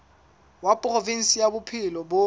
wa provinse ya bophelo bo